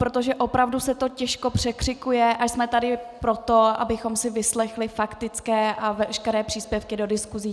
Protože opravdu se to těžko překřikuje a jsme tady proto, abychom si vyslechli faktické a veškeré příspěvky do diskuse.